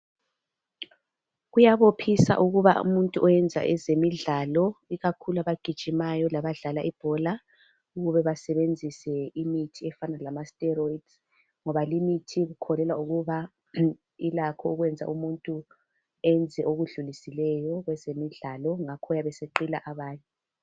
Kuyabophisa ukuba umuntu owenza ezemidlalo ikakhulu abagijimayo labadla ibhola ,ukuba basebenzise imithi efana lamasteroids ngoba limithi ikholelwa ukuba ilakho ukwenza umuntu enze okudluliseleyo kwezemidlalo ngakho uyabe eseqila abanye.